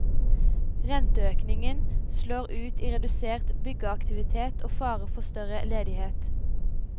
Renteøkningen slår ut i redusert byggeaktivitet og fare for større ledighet.